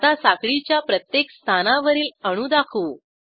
आता साखळीच्या प्रत्येक स्थानावरील अणू दाखवू